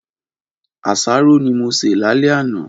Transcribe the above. Aṣáró ni mó sé làlẹ̀ ànà